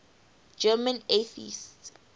german atheists